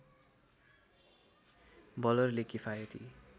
बलरले किफायती